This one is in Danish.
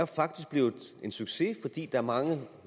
faktisk blevet en succes fordi er mange